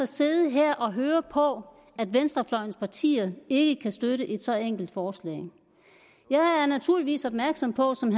sidde her og høre på at venstrefløjens partier ikke kan støtte et så enkelt forslag jeg er naturligvis opmærksom på som